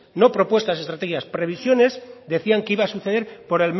no propuestas o estrategias previsiones decían que iban a suceder por